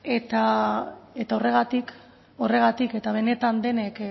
eta horregatik horregatik eta benetan denek